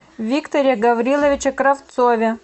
викторе гавриловиче кравцове